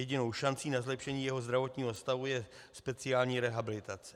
Jedinou šancí na zlepšení jejího zdravotního stavu je speciální rehabilitace.